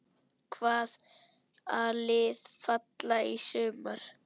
Hvaða lið falla í sumar?